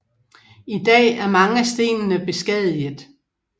I dag er mange af stenene beskadiget